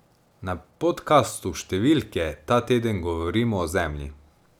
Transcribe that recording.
Na podkastu Številke ta teden govorimo o Zemlji.